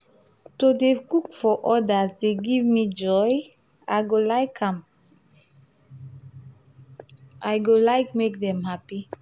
to dey cook for odas dey give me joy; i go like am i go like make dem happy.